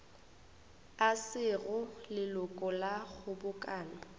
e sego leloko la kgobokano